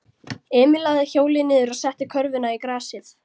Emil lagði hjólið niður og setti körfuna í grasið.